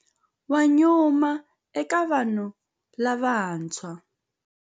Wa nyuma eka vanhu lavantshwa.